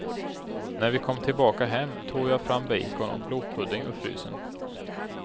När vi kom tillbaka hem tog jag fram bacon och blodpudding ur frysen.